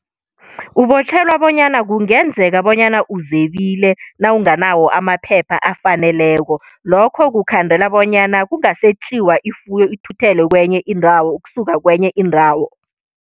Ubotjhelwa bonyana kungenzeka bonyana uzebile, nawunganawo amaphepha afaneleko. Lokho kukhandela bonyana kungasetjiwa ifuyo ithuthelwe kenye indawo, ukusuka kenye indawo.